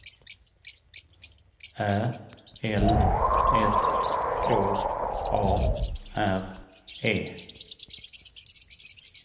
Ä L S K A R E